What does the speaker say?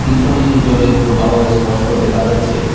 পিছনে জলের প্রবাহ ইস্পষ্ট দেখা যাচ্ছে।